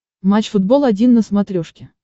матч футбол один на смотрешке